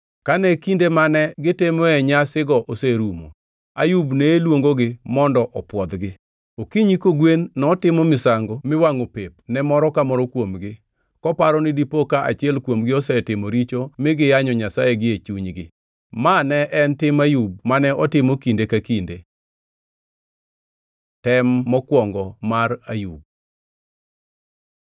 Kane kinde mane gitimoe nyasigo oserumo, Ayub ne luongogi mondo opwodhgi. Okinyi kogwen notimo misango miwangʼo pep ne moro ka moro kuomgi, koparo ni dipo ka achiel kuomgi osetimo richo mi giyanyo Nyasaye gie chunygi. Ma ne en tim Ayub mane otimo kinde ka kinde. Tem mokwongo mar Ayub